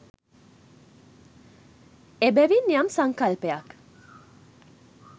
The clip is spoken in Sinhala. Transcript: එබැවින් යම් සංකල්පයක්